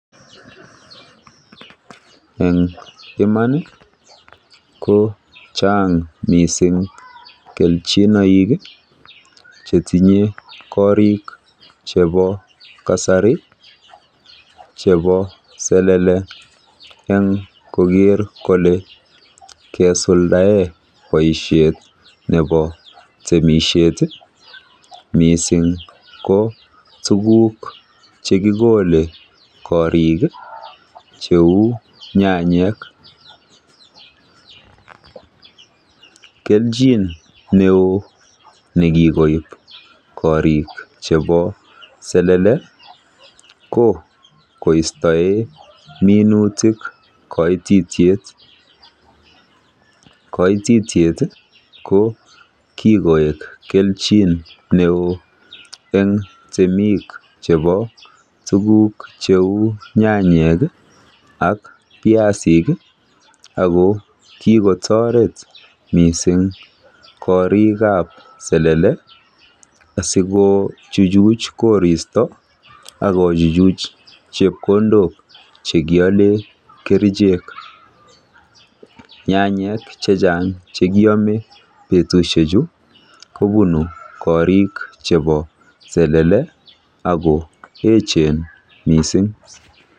En iman ko chang mising kelchinoik chetinyei korik chebo kasari chebo selele eng koker kole kesuldae boishet nebo temishet mising ko tukuk chekikolei eng korik cheu nyanyik. Kelchin neo nekikoip korik chebo selele ko koistoe minutik koititiet. Koititiet ko kikoek kelchin neo eng temik chebo tukuk cheu nyanyik ak viasik. Ako kikotoret mising korik ab selele siko chuchuch koristo ak kochuchuch chepkondok chekiole kerichek. Nyanyik chechang chekiame betushechu kopunu korik chebo selele ako echen mising.